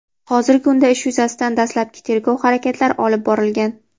hozirgi kunda ish yuzasidan dastlabki tergov harakatlari olib borilgan.